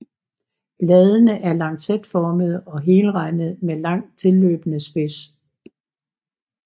Bladene er lancetformede og helrandede med langt tilløbende spids